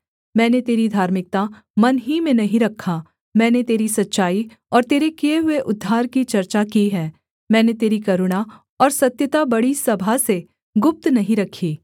मैंने तेरी धार्मिकता मन ही में नहीं रखा मैंने तेरी सच्चाई और तेरे किए हुए उद्धार की चर्चा की है मैंने तेरी करुणा और सत्यता बड़ी सभा से गुप्त नहीं रखी